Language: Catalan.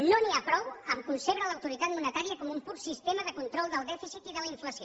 no n’hi ha prou a concebre l’autoritat monetària com un pur sistema de control del dèficit i de la inflació